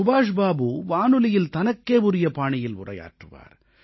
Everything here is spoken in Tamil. சுபாஷ் பாபு வானொலியில் தனக்கே உரிய பாணியில் உரையாற்றுவார்